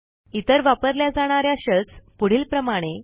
इतर वापरल्या जाणा या शेल्स पुढीलप्रमाणे